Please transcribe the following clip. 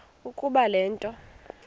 ukuba le nto